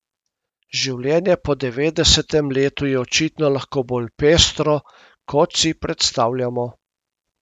Življenje po devetdesetem letu je očitno lahko bolj pestro, kot si predstavljamo.